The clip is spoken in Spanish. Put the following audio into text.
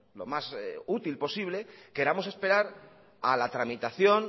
lo más útil posible queramos esperar a la tramitación